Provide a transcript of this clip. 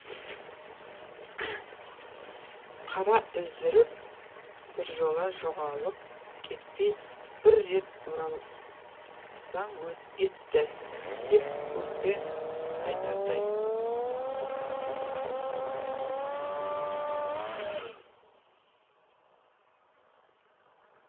қара үздіріп біржола жоғалып кетпей бір рет оралсаң етті деп өкпе айтардай